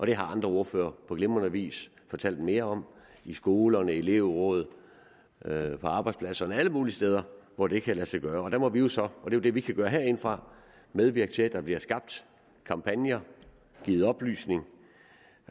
det har andre ordførere på glimrende vis fortalt mere om i skolerne i elevrådene på arbejdspladserne alle mulige steder hvor det kan lade sig gøre der må vi jo så og det er det vi kan gøre herindefra medvirke til at der bliver skabt kampagner givet oplysning